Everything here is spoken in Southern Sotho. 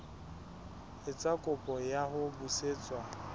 etsa kopo ya ho busetswa